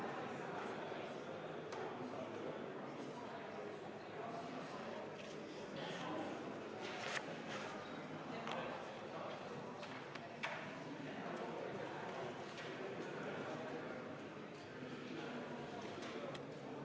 Muudatusettepaneku nr 5 esitaja on Eesti Vabaerakonna fraktsioon ja seda on täielikult arvestatud.